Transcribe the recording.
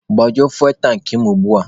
Gbajuo fuwel tankị mụ ugbua!